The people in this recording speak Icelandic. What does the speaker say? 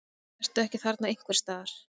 Ertu ekki þarna einhvers staðar?